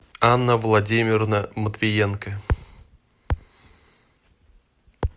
анна владимировна матвиенко